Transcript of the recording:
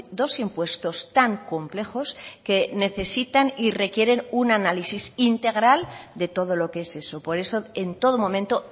dos impuestos tan complejos que necesitan y requieren un análisis integral de todo lo que es eso por eso en todo momento